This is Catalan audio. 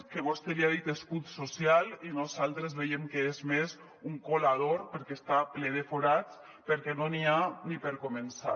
que vostè li ha dit escut social i nosaltres veiem que és més un colador perquè està ple de forats perquè no n’hi ha ni per començar